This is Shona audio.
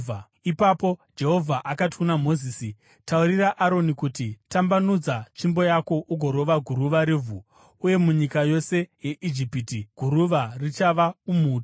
Ipapo Jehovha akati kuna Mozisi, “Taurira Aroni uti, ‘Tambanudza tsvimbo yako ugorova guruva revhu,’ uye munyika yose yeIjipiti, guruva richava umhutu.”